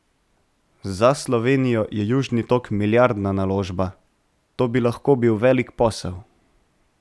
Za Slovenijo je Južni tok milijardna naložba, to bi lahko bil velik posel.